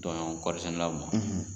Tɔɲɔgɔn kɔɔri sɛnɛlaw man, .